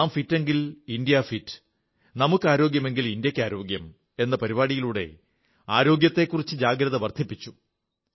നാം ഫിറ്റെങ്കിൽ India fit നമുക്കാരോഗ്യമെങ്കിൽ ഇന്ത്യയ്ക്കാരോഗ്യം എന്ന പരിപാടിയിലൂടെ ആരോഗ്യത്തെക്കുറിച്ച് ജാഗ്രത വർധിപ്പിച്ചു